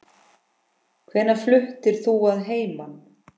Hvenær fluttir þú að heiman?